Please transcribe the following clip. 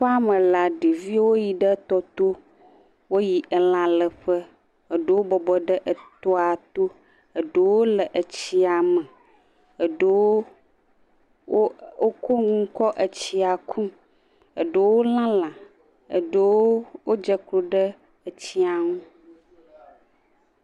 Aƒeame la, ɖeviwo yi ɖe tɔ to. Woyi elã le ƒe. Eɖewo bɔbɔ ɖe etɔa to, eɖewo le etsia me, eɖewo wo wokɔ enu kɔ etsia kum, eɖewo le lã, eɖewo wodze klo ɖe etsia ŋu.